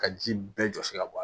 Ka ji bɛɛ jɔsi ka bɔ a la